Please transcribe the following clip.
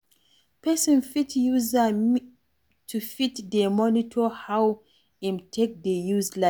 Person fit use meter to fit dey monitor how im take dey use light